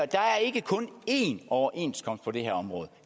der er ikke kun én overenskomst på det her område